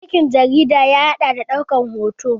Aikin jarida ya haɗa da ɗaukan hoto